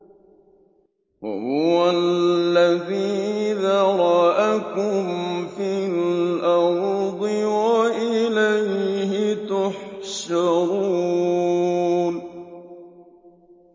وَهُوَ الَّذِي ذَرَأَكُمْ فِي الْأَرْضِ وَإِلَيْهِ تُحْشَرُونَ